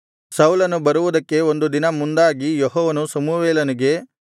ಸೌಲನು ಬರುವುದಕ್ಕೆ ಒಂದು ದಿನ ಮುಂದಾಗಿ ಯೆಹೋವನು ಸಮುವೇಲನಿಗೆ